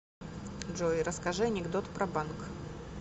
джой расскажи анекдот про банк